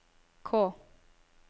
K